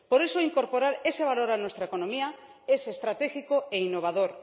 por eso, incorporar ese valor a nuestra economía es estratégico e innovador